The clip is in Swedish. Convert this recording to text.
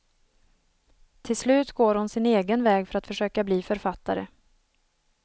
Till slut går hon sin egen väg för att försöka bli författare.